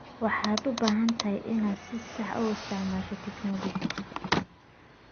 Waxaad u baahan tahay inaad si sax ah u isticmaasho tignoolajiyada.